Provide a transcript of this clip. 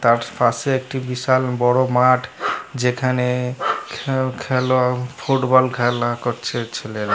তার পাশে একটি বিশাল বড় মাঠ । যেখানে উম খেলা ফুটবল খেলা করছে ছেলেরা ।